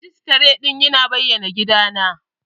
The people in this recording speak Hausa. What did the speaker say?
Majistare ɗin ya na bayan gida na